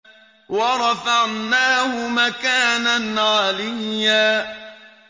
وَرَفَعْنَاهُ مَكَانًا عَلِيًّا